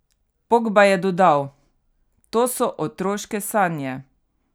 Pogba je dodal: "To so otroške sanje.